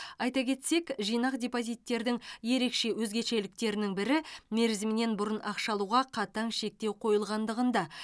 айта кетсек жинақ депозиттердің ерекше өзгешеліктерінің бірі мерзімінен бұрын ақша алуға қатаң шектеу қойылғандығында